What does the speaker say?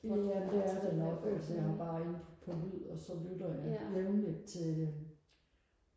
det er det nok altså jeg er bare inde på på lyd og så lytter jeg jævnligt til